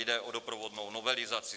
Jde o doprovodnou novelizaci.